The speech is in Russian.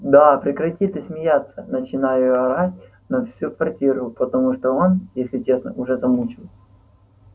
да прекрати ты смеяться начинаю орать на всю квартиру потому что он если честно уже замучил